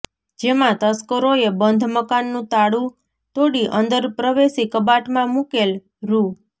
જેમાં તસ્કરોએ બંધ મકાનનું તાળુ તોડી અંદર પ્રવેશી કબાટમાં મુકેલ રૃા